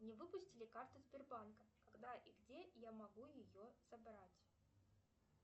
мне выпустили карту сбербанка когда и где я могу ее забрать